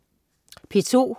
P2: